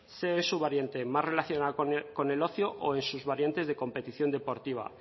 sea en su variante más relacionada con el ocio o en su variante de competición deportiva